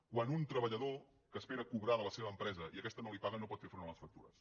quan un treballador espera cobrar de la seva empresa i aquesta no li paga no pot fer front a les factures